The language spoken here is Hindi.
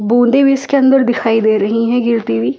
बूंदे भी इसके अंदर दिखाई दे रही हैं गिरती हुई--